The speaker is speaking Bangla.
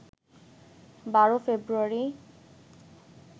১২ ফেব্রুয়ারি